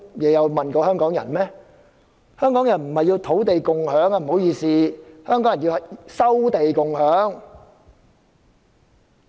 不好意思，香港人要的不是土地共享而是"收地共享"。